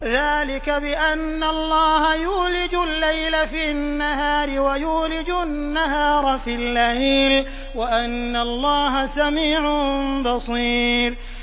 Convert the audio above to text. ذَٰلِكَ بِأَنَّ اللَّهَ يُولِجُ اللَّيْلَ فِي النَّهَارِ وَيُولِجُ النَّهَارَ فِي اللَّيْلِ وَأَنَّ اللَّهَ سَمِيعٌ بَصِيرٌ